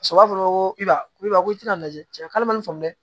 fɔra ko i b'a i b'a fɔ ko i tɛna lajɛ k'ale ma ni famu dɛ